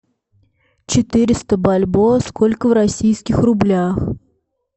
четыреста бальбоа сколько в российских рублях